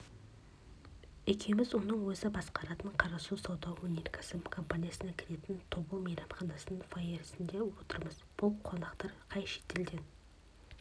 екеуміз оның өзі басқаратын қарасу сауда-өнеркәсіп компаниясына кіретін тобыл мейманханасының фойесінде отырмыз бұл қонақтар қай шетелден